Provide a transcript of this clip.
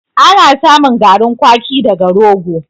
Ana samun garin kwaki daga rogo.